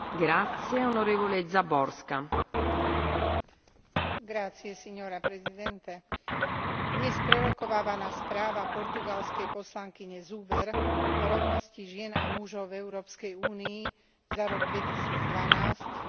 Dnes prerokovávaná správa portugalskej poslankyne Zuber o rovnosti žien a mužov v Európskej únii za rok 2012 je ďalšou zo sérií iniciatív proti životu, rodine a materstvu,